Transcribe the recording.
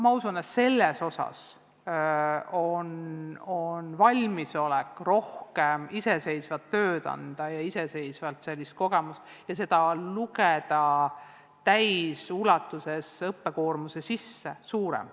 Ma usun, et selles osas on valmisolek suurem – anda rohkem iseseisvat tööd ja lugeda iseseisva õppimise kogemus täies ulatuses õppekoormuse sisse.